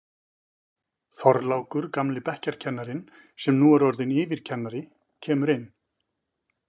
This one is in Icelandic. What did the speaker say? Þorlákur, gamli bekkjarkennarinn sem nú er orðinn yfirkennari, kemur inn.